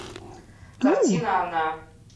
картина она